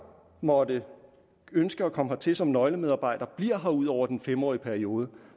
måtte ønske at komme hertil som nøglemedarbejdere bliver her ud over den fem årige periode